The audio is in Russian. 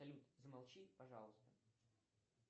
салют замолчи пожалуйста